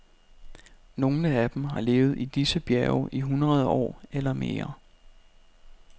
Nogle af dem har levet i disse bjerge i hundrede år eller mere.